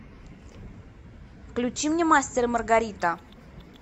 включи мне мастер и маргарита